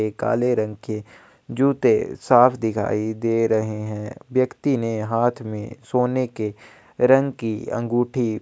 एक काले रंग के जूते साफ दिखाई दे रहै हैं व्यक्ति ने हाथ में सोने के रंग अंगूठी--